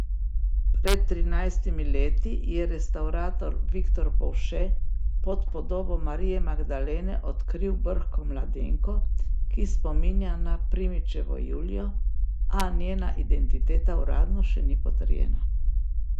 Pred trinajstimi leti je restavrator Viktor Povše pod podobo Marije Magdalene odkril brhko mladenko, ki spominja na Primičevo Julijo, a njena identiteta uradno še ni potrjena.